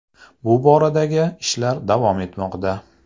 Bu boradagi ishlar davom etmoqda”.